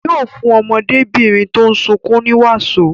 Yóò fún ọmọdébìnrin tó ń sunkún ní wàsó.